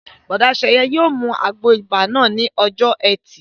Bùrọ̀dá Sẹ̀yẹ yóò mu àgbo ibà náà ní ọjọ́ ẹtì